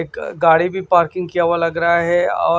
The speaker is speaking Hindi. एक गाड़ी भी पार्किंग किया हुआ लग रहा है औ--